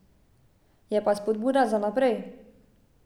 Je pa spodbuda za naprej.